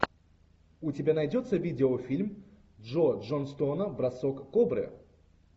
у тебя найдется видеофильм джо джонстона бросок кобры